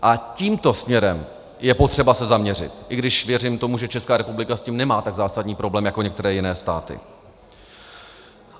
A tímto směrem je potřeba se zaměřit, i když věřím tomu, že Česká republika s tím nemá tak zásadní problém jako některé jiné státy.